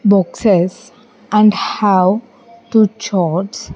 Boxes and have two charts.